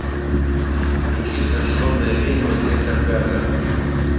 включи сожженная ведьма сектор газа